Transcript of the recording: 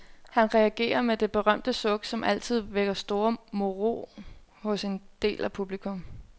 Han reagerer med det berømte suk, som altid vækker store moro hos en del af publikum.